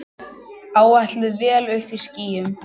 Áætluð vél uppí skýjum.